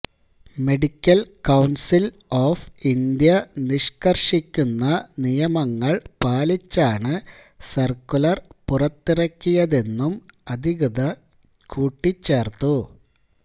medical council of India നിഷ്കർഷിക്കുന്ന നിയമങ്ങൽ പാലിച്ചാണ് സർക്കുലർ പുറത്തിറക്കിയതെന്നും അധികൃതർ കൂട്ടിച്ചേർത്തു